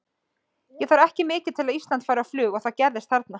Það þarf ekki mikið til að Ísland fari á flug og það gerðist þarna.